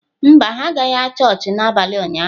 Mba, ha agaghị chọọchị n’abalị ụnyahụ